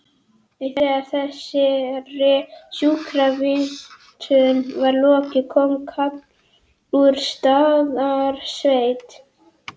Þegar þessari sjúkravitjun var lokið kom kall úr Staðarsveit.